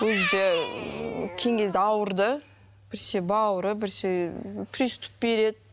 өзі де кейінгі кезде ауырды біресе бауыры біресе приступ береді